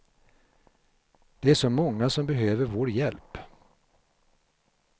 Det är så många som behöver vår hjälp.